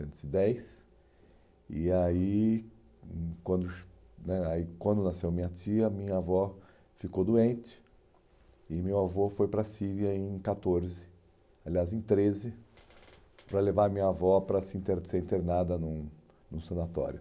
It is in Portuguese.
e dez. E aí, hum, quando né aí quando nasceu minha tia, minha avó ficou doente e meu avô foi para a Síria em catorze, aliás, em treze, para levar minha avó para se inter para ser internada num num sanatório.